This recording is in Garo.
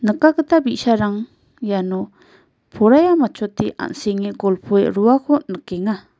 bi·sarang iano poraia matchote an·senge golpoe roako nikenga.